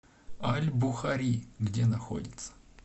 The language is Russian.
аль бухари где находится